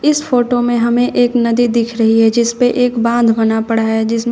इस फोटो में हमें एक नदी दिख रही है जिस पे एक बांध बना पड़ा है जिसमें--